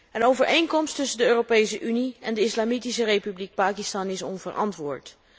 Een overeenkomst tussen de Europese Unie en de Islamitische Republiek Pakistan is onverantwoord.